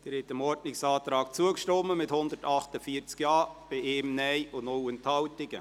Sie haben diesem Ordnungsantrag zugestimmt, mit 148 Ja-Stimmen bei 1 Nein-Stimme und 0 Enthaltungen.